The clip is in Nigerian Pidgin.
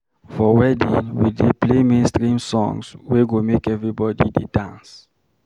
For wedding, we dey play mainstream songs wey go make everybody dey dance.